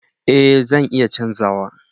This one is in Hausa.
Eh zan iya canza wa.